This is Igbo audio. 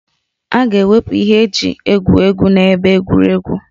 A ga-ewepụ ihe eji egwu egwu na ebe egwuregwu